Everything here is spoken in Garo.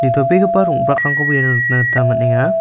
nitobegipa rong·brakrangkoba iano nikna gita man·enga.